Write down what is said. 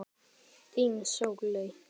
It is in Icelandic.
Þín, Sóley.